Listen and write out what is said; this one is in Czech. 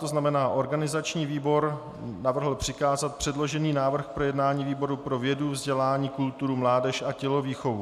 To znamená, organizační výbor navrhl přikázat předložený návrh k projednání výboru pro vědu, vzdělání, kulturu, mládež a tělovýchovu.